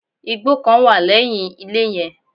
Igbó kan wà lẹ́yìn ilé yen